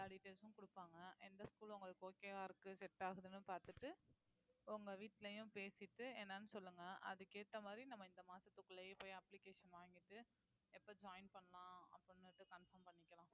எல்லா details ம் கொடுப்பாங்க எந்த school உங்களுக்கு okay வா இருக்கு set ஆகுதுன்னு பார்த்துட்டு உங்க வீட்டுலயும் பேசிட்டு என்னன்னு சொல்லுங்க அதுக்கு ஏத்த மாதிரி நம்ம இந்த மாசத்துக்குள்ளயே போய் application வாங்கிட்டு எப்ப join பண்ணலாம் confirm பண்ணிக்கலாம்